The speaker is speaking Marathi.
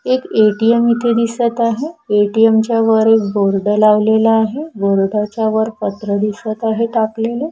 एक ए_टी_एम इथे दिसत आहे ए_टी_एम च्या वर एक बोर्ड लावलेला आहे बोर्ड च्या वर पत्र दिसत आहे टाकलेले.